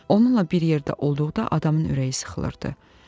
Onunla bir yerdə olduqda adamın ürəyi sıxılırdı.